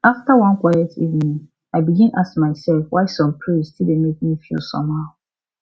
after one quiet evening i begin ask myself why some praise still dey make me feel somehow